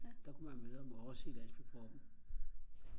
der kunne man møde ham og også i landsbypubben